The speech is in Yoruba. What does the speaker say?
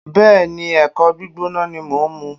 Bẹ́ẹ̀ni, ẹ̀kọ gbígbóná ni mo ń mu